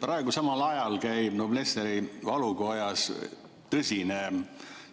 Praegu käib Noblessneri valukojas tõsine